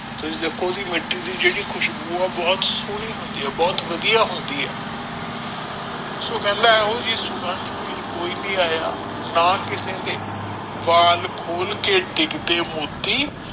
ਤੁਸੀ ਦੇਖੋ ਵੀ ਮਿਟੀ ਦੀ ਜਿਹੜੀ ਖ਼ਿਸ਼ਬੂ ਆ ਬਹੁਤ ਸੋਹਣੀ ਹੁੰਦੀ ਆ ਬਹੁਤ ਵਧੀਆ ਹੁੰਦੀ ਹੈ ਸੋ ਕਹਿੰਦਾ ਆ ਓ ਜੀ ਸੁਗੰਧ ਪੀਣ ਕੋਈ ਨੀ ਆਯਾ ਨਾ ਕਿਸੇ ਨੇ ਵੱਲ ਖੋਲ ਕੇ ਡਿਗ ਦੇ ਮੋਟੀ